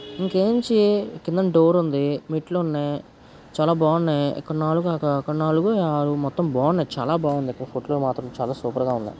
ఇక్కడ నుంచి కిందన డోర్ ఉంది మెట్లు ఉన్నాయి చాలా బాగున్నాయి ఇక్కడ నాలుగు అక్కడ నాలుగు ఈ ఆరు మొత్తం బాగున్నాయి చాలా బాగున్నాయి ఇక్కడ మాత్రం చాలా సూపర్ గా ఉన్నాయి.